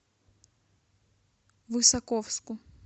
высоковску